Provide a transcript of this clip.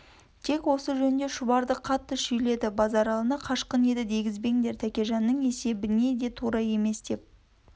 тек осы жөнінде шұбарды қатты шүйледі базаралыны қашқын еді дегізбеңдер тәкежанның есебіне де тура емес деп